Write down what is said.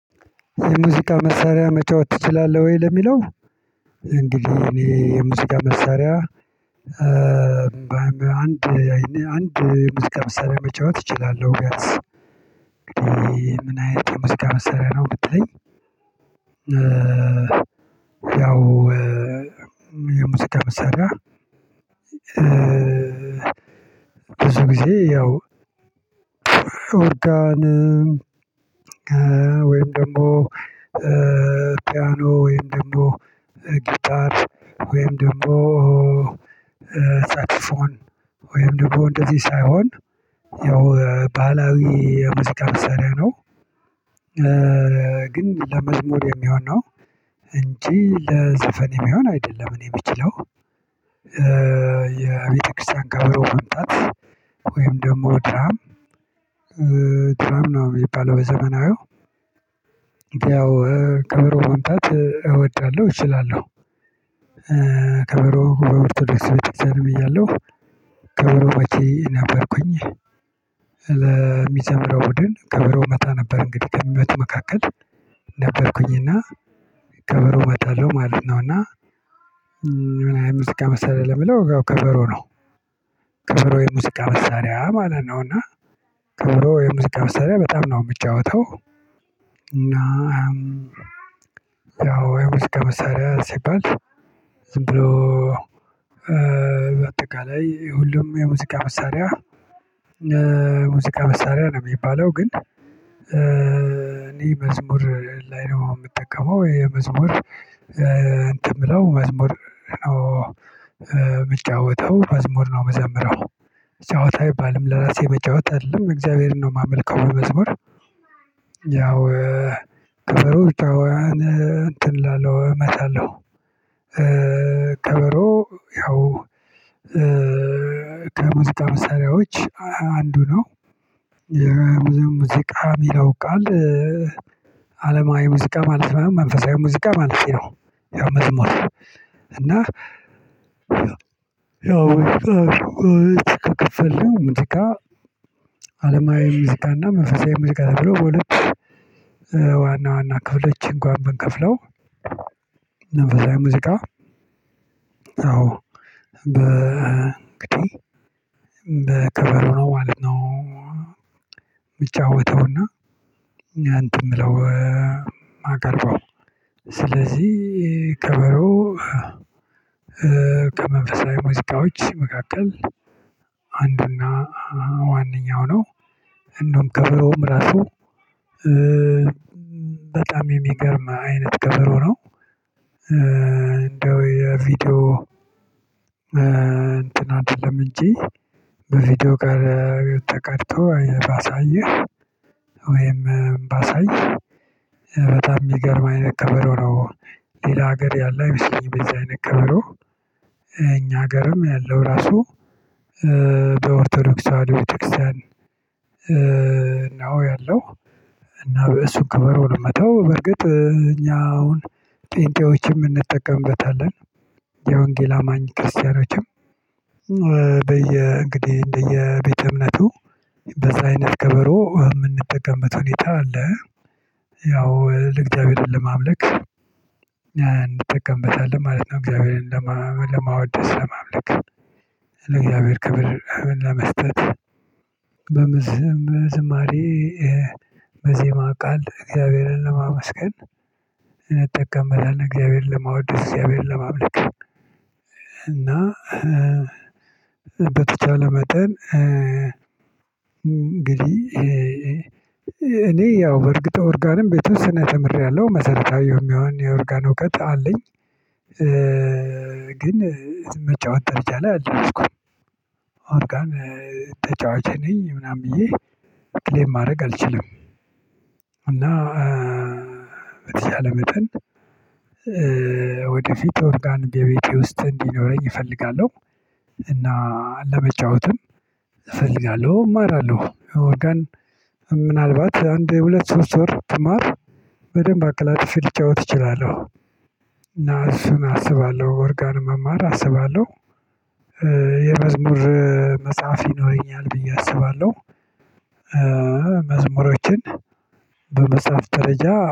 የሙዚቃ መሳሪያ መጫወት ትችላለህ ወይ? ለሚለው እንግዲህ እኔ የሙዚቃ መሳሪያ አንድ አይኔ አንድ የሙዚቃ መሳሪያ መጫወት እችላለሁ ቢያንስ ምን አይነት የሙዚቃ መሳሪያ ነው ብትትለኝ ያው የሙዚቃ መሳሪያ ብዙ ጊዜ ያው ኦርጋን ወይም ደግሞ ፒያኖ ወይም ደግሞ ጊታር ወይም ደግሞ ሳክስፎን ወይም ደግሞ እንደዚህ ሳይሆን ያው ባህላዊ የሙዚቃ መሳሪያ ነው ግን ለመዝሙር የሚሆን ነው እንጂ ለዘፈን የሚሆን አይደለም እኔ እምችለው የቤተክርስቲያን ከበሮ መምጣት ወይም ደግሞ ድራም ድራም ነው የሚባለው በዘመናዊው ያው ከበሮ መምታት እወዳለሁ እችላለሁ ከበሮ በኦርቶዶክስ ቤተ ክርስቲያንም እያለሁ ከበሮ መቺ ነበርኩኝ ለሚዘምረው ቡድን ከበሮ እመታ ነበር እንግዲህ ከሚመቱ መካከል ነበርኩኝና ከበሮ እመታለሁ ማለት ነውና የሙዚቃ መሳሪያ ለሚለው ከበሮ ነው ከበሮ የሙዚቃ መሳሪያ ማለት ነው እና ከበሮ የሙዚቃ መሳሪያ በጣም ነው የምጫወተው እና ያው የሙዚቃ መሳሪያ ሲባል ዝም ብሎ በአጠቃላይ ሁሉም የሙዚቃ መሳሪያ ሙዚቃ መሳሪያ ነው የሚባለው ግን እኔ መዝሙር ላይ ነው የምጠቀመው የመዝሙር እንትን ብለው መዝሙር ነው የምጫወተው መዝሙር ነው እምዘምረው ጫወታ አይባልም ለራሴ መጫወት አይደለም እግዚአብሔርን ነው የማመልከው በመዝሙር ያው ከበሮ ብቻዋን እንትን እላለሁ እመታለሁ ከበሮ ያው ከሙዚቃ መሳሪያዎች አንዱ ነው ሙዚቃ እሚለው ቃል አለማዊ ሙዚቃ ማለት መንፈሳዊ ሙዚቃ ማለቴ ነው ያው መዝሙር እና ያው በሁለት ከከፈልን ሙዚቃ አለማዊ ሙዚቃ እና መንፈሳዊ ሙዚቃ ተብሎ በሁለት ዋና ዋና ክፍሎች እንኳ ብንከፍለው መንፈሳዊ ሙዚቃ ያው በቢቱም በከበሮ ነው ማለት ነው የምጫወተውና እኛ እንትን የምለው እማቀርበው ስለዚህ ከበሮ ከመንፈሳዊ ሙዚቃዎች መካከል አንድና ዋናው ነው እንደውም ከበሮም ራሱ በጣም የሚገርም አይነት ከበሮ ነው እንደው የቪዲዮ እንትን አይደለም እንጂ በቪዲዮ ጋር ተቀድቶ ባሳየህ ባሳይ በጣም የሚገርም አይነት ከበሮ ነው ሌላ ሀገር ያለ አይመስለኝም እንደዚህ አይነት ከበሮ እኛ ሀገርም ያለው ራሱ በኦርቶዶክስ ተዋህዶ ቤተክርስቲያን ነው ያለው እና በእሱ ከበሮ ነው እምመተው በርግጥ እኛ አሁን ጴንጤዎችም እንጠቀምበታለን የወንጌል አማኝ ክርስቲያኖችም በየ እንግዲህ እንደየ ቤተ እምነቱ በዚህ አይነት ከበሮ የምንጠቀምበት ሁኔታ አለ ያው ለእግዚአብሔርን ለማምለክ እንጠቀምበታለን ማለት ነው እግዚአብሔርን ለማወደስ ለማምለክ ለእግዚአብሔር ክብር ለመስጠት በምዝም ዝማሬ በዜማ ቃል እግዚአብሔርን ለማመስገን እንጠቀምበታለን እግዚአብሔርን ለማወደስ እግዚአብሔርን ለማምለክ እና በተቻለ መጠን እንግዲህ እኔ ያው በእርግጥ ኦርጋንም የተወሰነ ተምሬያለሁ መሰረታዊ የሚሆን የኦርጋን እውቀት አለኝ ግን መጫወት ደረጃ ላይ አልደረስኩም ኦርጋን ተጫዋች ነኝ ምናምን ብዬ ክሌም ማድረግ አልችልም እና በተቻለ መጠን ወደፊት ኦርጋን በቤቴ ውስጥ እንዲኖረኝ እፈልጋለሁ እና ለመጫወትም እፈልጋለሁ እማራለሁ ኦርጋን ምናልባት አንድ ሁለት ሶስት ወር ብማር በደንብ አቀላጥፌ ልጫወት እችላለሁ እና እሱን አስባለሁ ኦርጋንን መማር አስባለሁ የመዝሙር መጽሐፍ ይኖረኛል ብዬ አስባለሁ መዝሙሮችን በመጻፍ ደረጃ